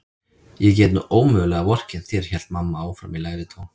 Ég get nú ómögulega vorkennt þér hélt mamma áfram í lægri tón.